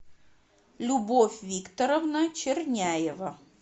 любовь викторовна черняева